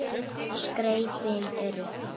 Skrefin eru